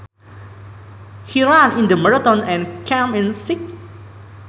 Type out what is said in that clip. He ran in the marathon and came in sixth